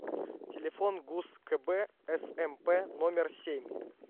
телефон гуз кб смп номер семь